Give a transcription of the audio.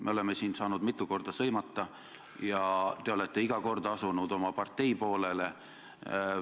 Me oleme siin saanud mitu korda sõimata ja te olete iga kord asunud oma partei poolele.